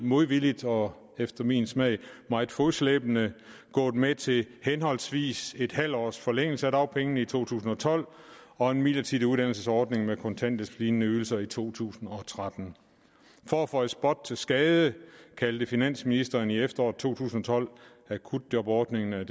modvilligt og efter min smag meget fodslæbende gået med til henholdsvis en halv års forlængelse af dagpengene i to tusind og tolv og en midlertidig uddannelsesordning med kontanthjælpslignende ydelser i to tusind og tretten for at føje spot til skade kaldte finansministeren i efteråret to tusind og tolv akutjobordningen med